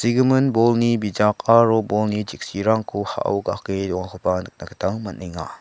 bolni bijak aro bolni cheksirangko ha·o ga·ake dongakoba nikna gita man·enga.